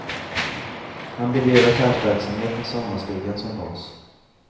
Han bedrev affärsverksamhet med sommarstugan som bas.